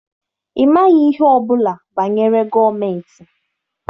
Ị maghị ihe ọbụla banyere gọọmentị.